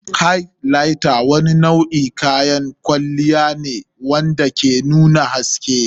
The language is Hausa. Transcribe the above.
Highlighter wani nau'in kayan kwalliya ne wanda ke nuna haske.